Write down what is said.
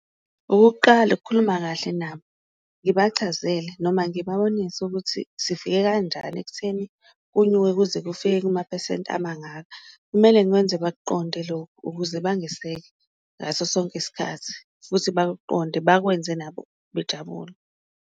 Okokuqala, ukukhuluma kahle nabo ngibachazele noma ngibabonise ukuthi sifike kanjani ekutheni kunyuke kuze kufike kumaphesenti amangaka, kumele ngikwenze bakuqonde lokho ukuze bangeseke ngaso sonke isikhathi, futhi bakuqonde bakwenze nabo bejabule.